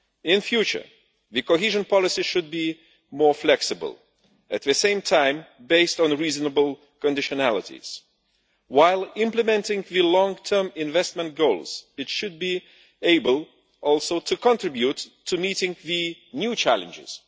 In future, cohesion policy should be more flexible, while at the same time based on reasonable conditionalities. While implementing long term investment goals it should also be able to contribute to meeting the new challenges.